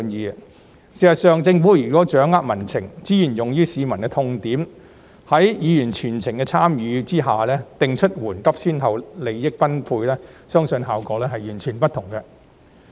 事實上，如果政府掌握民情，資源用於市民的痛點，在議員全程參與的情況下，定出緩急先後、利益分配，相信效果會完全不同。